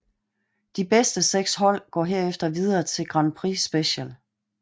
De bedste seks hold går herefter videre til Grand Prix Special